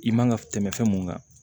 I man ka tɛmɛ fɛn mu kan